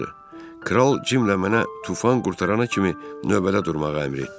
Kral Cimlə mənə tufan qurtarana kimi növbədə durmağı əmr etdi.